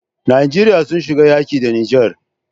Nigeria sun shiga yaƙi da niger